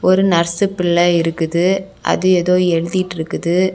ஒரு நர்சுப்பிள்ள இருக்குது அது ஏதோ எழுதிட்டு இருக்குது.